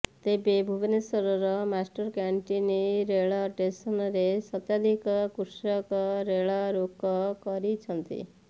ତେବେ ଭୁବନେଶ୍ୱର ମାଷ୍ଟରକ୍ୟାଂଟିନ ରେଳ ଷ୍ଟେସନରେ ଶତାଧିକ କୃଷକ ରେଳ ରୋକ କରିଛନ୍ତି